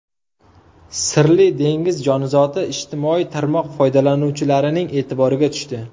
Sirli dengiz jonzoti ijtimoiy tarmoq foydalanuvchilarining e’tiboriga tushdi.